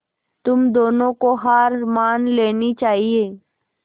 तुम दोनों को हार मान लेनी चाहियें